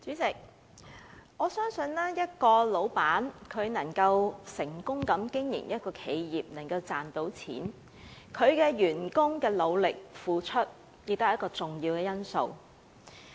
代理主席，我相信一名僱主能夠成功經營一家企業，賺到錢，其員工的努力付出，是一個重要因素。